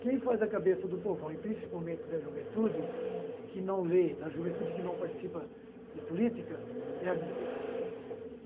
Quem faz a cabeça do povão e, principalmente, da juventude que não lê, da juventude que não participa de política, é a mídia gente.